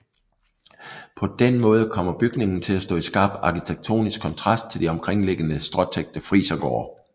På den måde kommer bygningen til at stå i skarp arkitektonisk kontrast til de omkringliggende stråtækte frisergårde